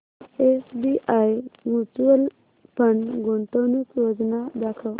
SBI mutual fund गुंतवणूक योजना दाखव